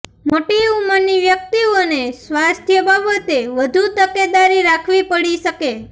મોટી ઉંમરની વ્યક્તિઓને સ્વાસ્થ્ય બાબતે વધુ તકેદારી રાખવી પડી શકે